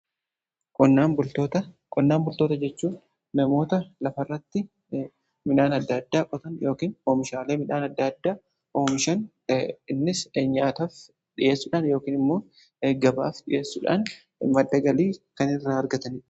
Qonnaan bultoota jechuun namoota lafarratti midhaan adda addaa qotan yookaan oomishaalee midhaan adda addaa oomishan, innis nyaataf dhiyeessuudhaan yookin immoo gabaaf dhiyeessuudhaan madda galii kan irraa argatan.